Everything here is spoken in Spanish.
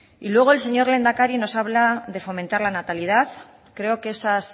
y luego el señor lehendakari nos habla de fomentar la natalidad creo que esos